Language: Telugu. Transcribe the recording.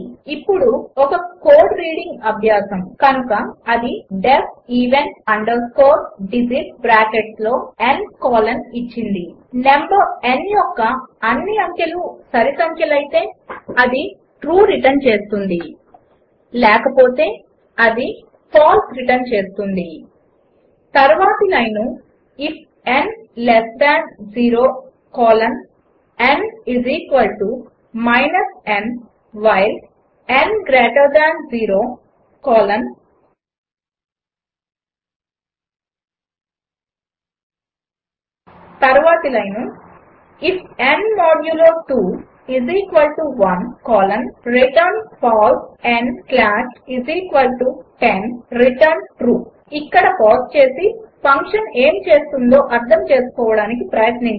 ఇప్పుడు మరి ఒక కోడ్ రీడింగ్ అభ్యాసము కనుక అది డీఇఎఫ్ ఎవెన్ అండర్స్కోర్ డిజిట్స్ బ్రాకెట్స్లో n కోలన్ ఇచ్చింది నంబర్ n యొక్క అన్ని అంకెలు సరిసంఖ్యలయితే అది ట్రూ రిటర్న్ చేస్తుంది లేకపోతే అది ఫాల్స్ రిటర్న్ చేస్తుంది తర్వాతి line if n less than 0 colon n n while n greater than 0 colon తర్వాతి line if n modulo 2 1 colon return false n slash 10 return true ఇక్కడ పాజ్ చేసి ఫంక్షన్ ఏమి చేస్తుందో అర్థం చేసుకోడానికి ప్రయత్నించండి